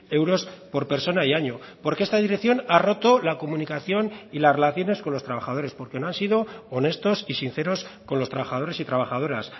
euros por persona y año porque esta dirección ha roto la comunicación y las relaciones con los trabajadores porque no han sido honestos y sinceros con los trabajadores y trabajadoras